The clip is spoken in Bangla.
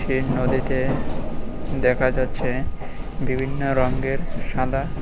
এই নদীতে দেখা যাচ্ছে বিভিন্ন রঙ্গের সাদা--